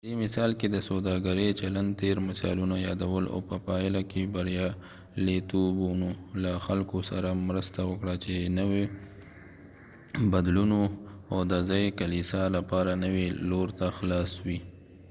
په دې مثال کې د سوداګرۍ چلند تیر مثالونه یادول او په پايله کې بریالیتوبونو له خلکو سره مرسته وکړه چې نويو بدلونونو او د ځایي کلیسا لپاره نوي لور ته خلاص وي